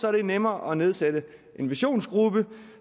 er det nemmere at nedsætte en visionsgruppe